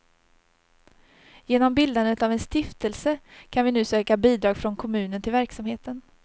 Genom bildandet av en stiftelse kan vi nu söka bidrag från kommunen till verksamheten.